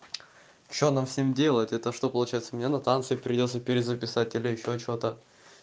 что нам всем делать это что получается мне на танцы их прийдётся перезаписать или ещё что-то